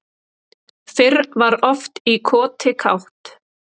Fyrr var oft í koti kátt